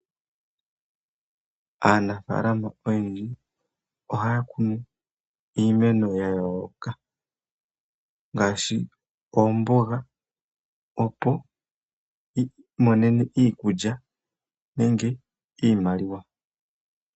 Aanafalama oyendji ohayakunu iimeno yayooloka ngaashi, oomboga opo yi imonene iikulya nenge iimaliwa.